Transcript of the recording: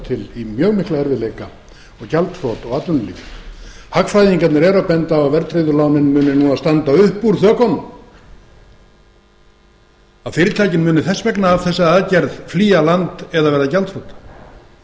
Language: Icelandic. til í mjög mikla erfiðleika og gjaldþrot og atvinnuleysi hagfræðingarnir eru að benda á að verðtryggðu lánin muni núna standa upp úr þökunum að fyrirtækin muni þess vegna af þessari aðgerð flýja land eða verða gjaldþrota